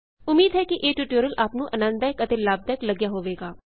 ਉਮੀਦ ਹੈ ਕਿ ਇਹ ਟਯੂਟੋਰਿਅਲ ਆਪ ਨੂੰ ਆਨੰਦਦਾਇਕ ਅਤੇ ਲਾਭਦਾਇਕ ਲਗਿਆ ਹੋਵੇਗਾ